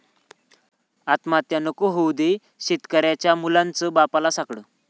आत्महत्या नको होऊ दे, शेतकऱ्यांच्या मुलांचं बाप्पाला साकडं